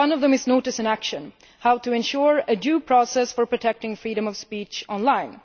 One of them is notice and action' how to ensure a due process for protecting freedom of speech online.